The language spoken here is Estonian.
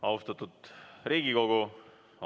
Austatud Riigikogu!